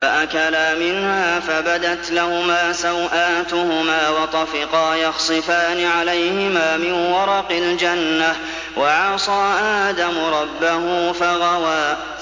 فَأَكَلَا مِنْهَا فَبَدَتْ لَهُمَا سَوْآتُهُمَا وَطَفِقَا يَخْصِفَانِ عَلَيْهِمَا مِن وَرَقِ الْجَنَّةِ ۚ وَعَصَىٰ آدَمُ رَبَّهُ فَغَوَىٰ